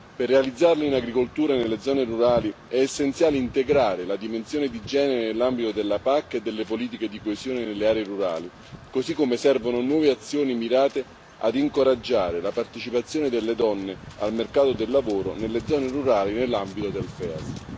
Per realizzarla in agricoltura e nelle zone rurali è essenziale integrare la dimensione di genere nell'ambito della PAC e delle politiche di coesione nelle aree rurali, così come servono nuove azioni mirate ad incoraggiare la partecipazione delle donne al mercato del lavoro nelle zone rurali nell'ambito del FEASR.